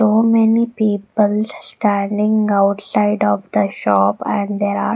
So many people standing outside of the shop and there are--